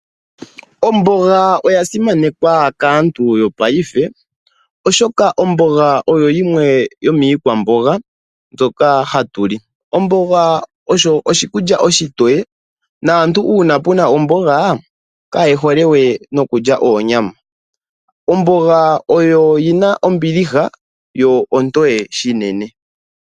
Omboga oya simanekwa kaantu yopaife oshoka omboga oyo yimwe yomwiikwamboga mbyoka hatu li. Omboga oho oshikulya oshitoye naantu uuna pena omboga kayehole we okulya onyama. Omboga oyo yina ombiliha yo ontoye shinene.